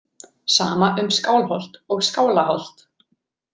Sama um Skálholt og Skálaholt.